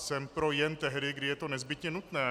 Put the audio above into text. Jsem pro jen tehdy, kdy je to nezbytně nutné.